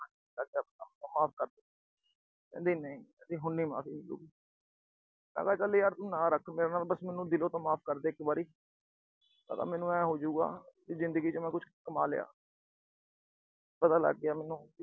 ਮੈਂ ਕਿਹਾ ਮਾਫ਼ ਕਰ। ਕਹਿੰਦੀ ਨਹੀਂ, ਕਹਿੰਦੀ ਹੁਣ ਨਹੀਂ ਮਾਫ਼ੀ ਮਿਲੂ। ਮੈਂ ਕਿਹਾ ਤੂੰ ਨਾ ਰੱਖ ਮੇਰੇ ਨਾਲ। ਦਿਲੋਂ ਤਾਂ ਮਾਫ਼ ਕਰਦੇ ਇੱਕ ਵਾਰੀ। ਮੈਨੂੰ ਆਏ ਹੋਜੂਗਾ ਮੈਂ ਜ਼ਿੰਦਗੀ ਚ ਕੁਛ ਕਮਾ ਲਿਆ। ਪਤਾ ਲੱਗ ਗਿਆ ਮੈਨੂੰ।